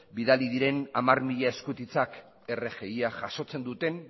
bidali diren hamar mila eskutitzak